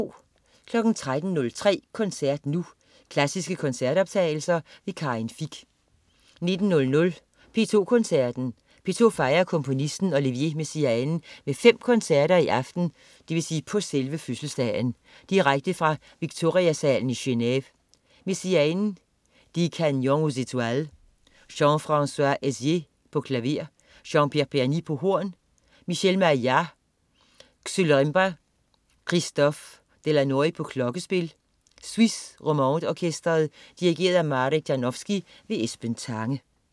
13.03 Koncert Nu. Klassiske koncertoptagelser. Karin Fich 19.00 P2 Koncerten. P2 fejrer komponisten Olivier Messiaen med 5 koncerter, i aften (på selve fødselsdagen) direkte fra Victoria-salen i Genève. Messiaen: Des Canyons aux Etoiles. Jean-Francois Heisser, klaver. Jean-Pierre Berny, horn. Michel Maillard, xylorimba. Christophe Delannoy, klokkespil. Suisse Romande Orkestret. Dirigent: Marek Janowski. Esben Tange